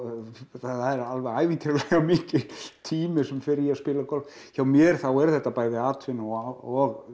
það er alveg ævintýralega mikill tími sem fer í að spila golf hjá mér er þetta bæði atvinna og